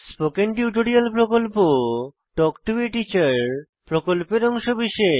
spoken tutorial প্রকল্প talk to a teacher প্রকল্পের অংশবিশেষ